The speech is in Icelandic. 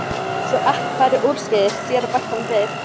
Svo ekkert fari úrskeiðis síðar bætti hann við.